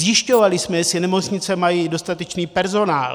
Zjišťovali jsme, jestli nemocnice mají dostatečný personál.